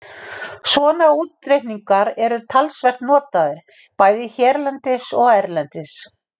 Svona útreikningar eru talsvert notaðir, bæði hérlendis og erlendis.